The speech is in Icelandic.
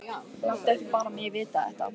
Láttu ekki bara mig vita þetta.